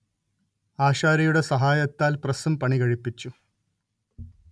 ആശാരിയുടെ സഹായത്താൽ പ്രസ്സും പണികഴിപ്പിച്ചു